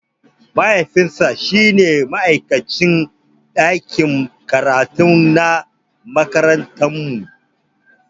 Mahaifinsa shine ma'aikacin ɗakin karatu na makarantarmu.